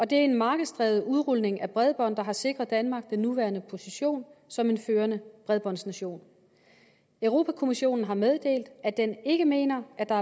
det er en markedsdrevet udrulning af bredbåndet der har sikret danmark den nuværende position som en førende bredbåndsnation europa kommissionen har meddelt at den ikke mener at der